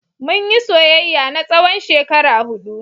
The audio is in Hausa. Mun yi soyayya na tsawon shekara huɗu.